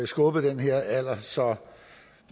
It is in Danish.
skubbet den her alder så